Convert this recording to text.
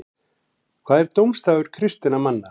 hvað er dómsdagur kristinna manna